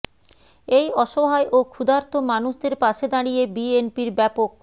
এই অসহায় ও ক্ষুধার্ত মানুষদের পাশে দাঁড়িয়ে বিএনপির ব্যাপক